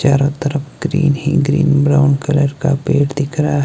चारों तरफ ग्रीन ही ग्रीन ब्राउन कलर का पेड़ दिख रहा--